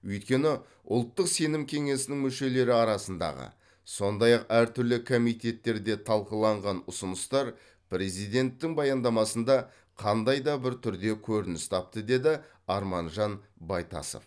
өйткені ұлттық сенім кеңесінің мүшелері арасындағы сондай ақ әртүрлі комитеттерде талқыланған ұсыныстар президенттің баяндамасында қандай да бір түрде көрініс тапты деді арманжан байтасов